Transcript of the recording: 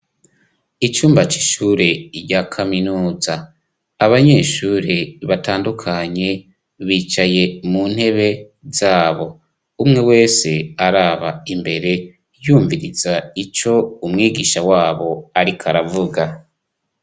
Icumba c'ishure rya kaminuza abanyeshure batandukanye bicaye mu ntebe zabo umwe wese araba imbere yumviriza ico umwigisha wabo ariko aravuga.